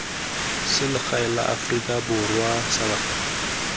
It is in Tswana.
selegae la aforika borwa salga